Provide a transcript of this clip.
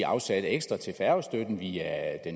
afsat ekstra til færgestøtten via